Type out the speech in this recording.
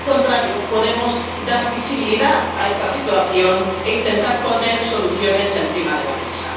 o por el contrario, podemos dar visibilidad a esta situación e intentar poner soluciones encima de la mesa.